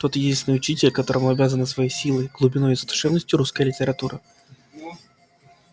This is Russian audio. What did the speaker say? тот единственный учитель которому обязана своей силой глубиной и задушевностью русская литература